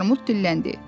Armud dilləndi.